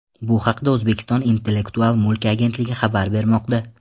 Bu haqda O‘zbekiston Intellektual mulk agentligi xabar bermoqda .